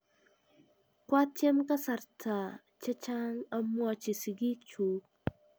Kwatiem kasarta chehcang amwachi sigik chug